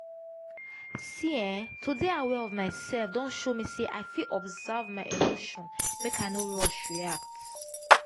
see eh to dey aware of myself don show me say i fit observe my emotion make i no rush react.